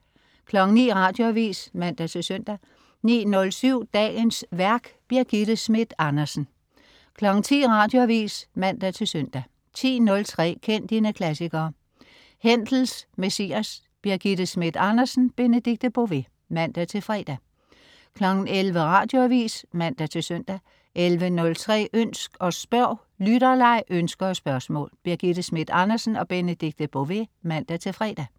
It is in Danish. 09.00 Radioavis (man-søn) 09.07 Dagens værk. Birgitte Schmidt Andersen 10.00 Radioavis (man-søn) 10.03 Kend dine klassikere. Händels Messias. Birgitte Schmidt Andersen/Benedikte Bové (man-fre) 11.00 Radioavis (man-søn) 11.03 Ønsk og spørg. Lytterleg, ønsker og spørgsmål. Birgitte Schmidt Andersen/Benedikte Bové (man-fre)